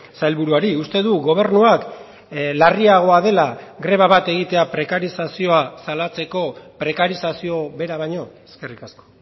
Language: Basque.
sailburuari uste du gobernuak larriagoa dela greba bat egitea prekarizazioa salatzeko prekarizazio bera baino eskerrik asko